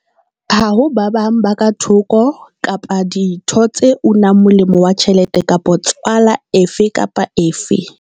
Ha ho ba bang ba ka thoko kapa ditho tse unang molemo wa tjhelete kapa 'tswala' efe kapa efe.